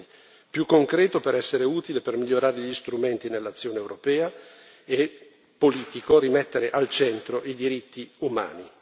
In definitiva, forse bisogna cambiare un po' l'approccio in due direzioni più concreto per essere utile e per migliorare gli strumenti nell'azione europea e politico per rimettere al centro i diritti umani.